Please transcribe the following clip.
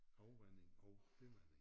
Afvanding og bivanding